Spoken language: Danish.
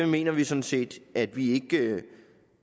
mener vi sådan set at vi ikke